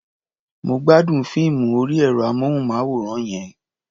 Mo gbádùn fíìmù orí ẹ̀rọ-amóhùnmáwòrán yẹn.